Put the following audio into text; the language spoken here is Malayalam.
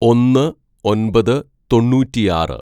"ഒന്ന് ഒന്‍പത് തൊണ്ണൂറ്റിയാറ്‌